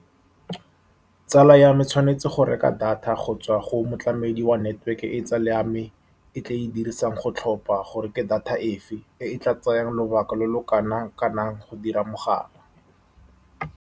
Tsala ya me e tshwanetse go reka data go tswa go motlamedi wa network-e, e tsala ya me e tla e dirisang go tlhopha gore ke data efe e e tla tsayang lobaka lo lo kanang-kanang go dira mogala.